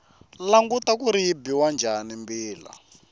languta kuri yi biwa njhani mbila